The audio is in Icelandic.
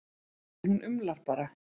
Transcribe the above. En hún umlar bara.